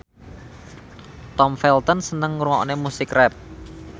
Tom Felton seneng ngrungokne musik rap